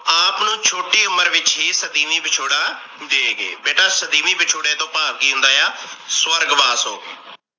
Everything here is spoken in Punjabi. ਆਪ ਨੂੰ ਛੋਟੀ ਉਮਰ ਵਿੱਚ ਹੀ ਸਦੀਮੀ ਵਿਛੋੜਾ ਦੇ ਗਏ। ਬੇਟਾ ਸਦੀਮੀ ਵਿਛੋੜੇ ਤੋਂ ਭਾਵ ਕਿ ਹੁੰਦਾ ਆ ਸਵਰਗਵਾਸ ਹੋ ਗਏ।